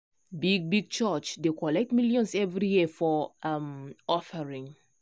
big big church dey collect millions every year for um offering.